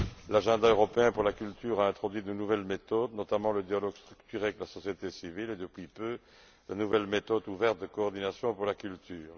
L'agenda européen pour la culture a introduit de nouvelles méthodes, notamment le dialogue structuré avec la société civile et depuis peu de nouvelles méthodes ouvertes de coordination pour la culture.